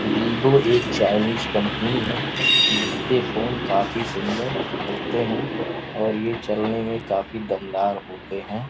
Vivo एक Chinese company है जिसके फोन काफी सुंदर होते हैं और ये चलने में काफी दमदार होते हैं।